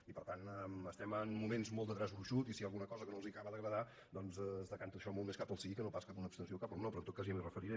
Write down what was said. i per tant estem en moments molt de traç gruixut i si hi ha alguna cosa que no els acaba d’agradar doncs es decanta això molt més cap al sí que no pas cap a una abstenció o cap al no però en tot cas ja m’hi referiré